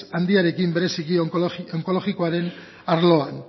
handiekin bereziki onkologikoaren arloan